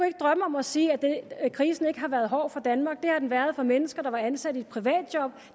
ikke drømme om at sige at krisen ikke har været hård for danmark det har den været for mennesker der var ansat i private job